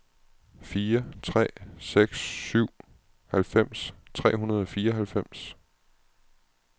fire tre seks syv halvfems tre hundrede og fireoghalvfems